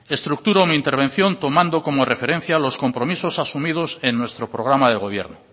estructuro mi intervención tomando como referencia los compromisos asumidos en nuestro programa de gobierno